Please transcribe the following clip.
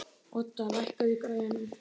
Odda, lækkaðu í græjunum.